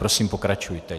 Prosím, pokračujte.